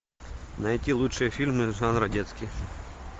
найти лучшие фильмы жанра детский